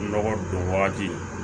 Nɔgɔ don wagati